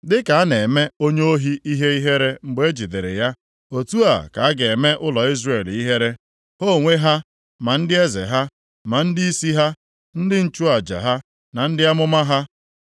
“Dịka a na-eme onye ohi ihe ihere mgbe e jidere ya, otu a ka a ga-eme ụlọ Izrel ihere, ha onwe ha, ma ndị eze ha, ma ndịisi ha, ndị nchụaja ha na ndị amụma ha.